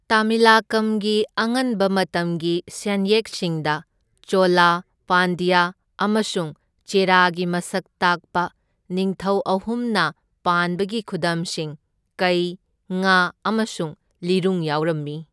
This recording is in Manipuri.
ꯇꯃꯤꯂꯀꯝꯒꯤ ꯑꯉꯟꯕ ꯃꯇꯝꯒꯤ ꯁꯦꯟꯌꯦꯛꯁꯤꯡꯗ ꯆꯣꯂꯥ, ꯄꯥꯟꯗ꯭ꯌꯥ ꯑꯃꯁꯨꯡ ꯆꯦꯔꯥꯒꯤ ꯃꯁꯛ ꯇꯥꯛꯄ ꯅꯤꯡꯊꯧ ꯑꯍꯨꯝꯅ ꯄꯥꯟꯕꯒꯤ ꯈꯨꯗꯝꯁꯤꯡ, ꯀꯩ, ꯉꯥ ꯑꯃꯁꯨꯡ ꯂꯤꯔꯨꯡ ꯌꯥꯎꯔꯝꯃꯤ꯫